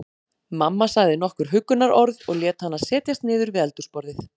Mamma sagði nokkur huggunarorð og lét hana setjast niður við eldhúsborðið.